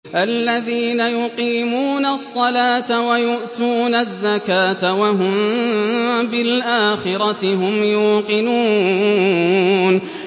الَّذِينَ يُقِيمُونَ الصَّلَاةَ وَيُؤْتُونَ الزَّكَاةَ وَهُم بِالْآخِرَةِ هُمْ يُوقِنُونَ